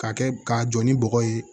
K'a kɛ k'a jɔ ni bɔgɔ ye